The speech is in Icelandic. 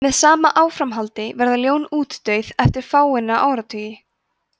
með sama áframhaldi verða ljón útdauð eftir fáeina áratugi